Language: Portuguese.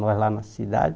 Nós lá na cidade.